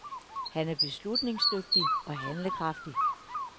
Han er beslutningsdygtig og handlekraftig.